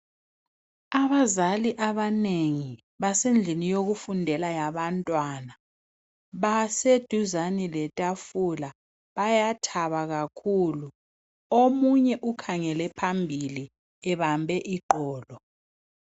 Abazali abanengi basendlini yokufundela yabantwana baseduzane letafula bayathaba kakhulu omunye ukhangele phambili ebambe iqolo.